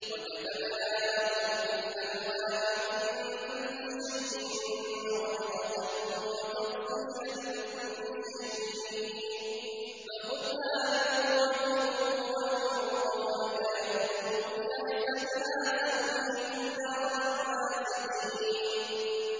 وَكَتَبْنَا لَهُ فِي الْأَلْوَاحِ مِن كُلِّ شَيْءٍ مَّوْعِظَةً وَتَفْصِيلًا لِّكُلِّ شَيْءٍ فَخُذْهَا بِقُوَّةٍ وَأْمُرْ قَوْمَكَ يَأْخُذُوا بِأَحْسَنِهَا ۚ سَأُرِيكُمْ دَارَ الْفَاسِقِينَ